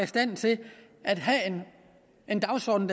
stand til at have en dagsorden